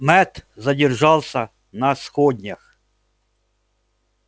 мэтт задержался на сходнях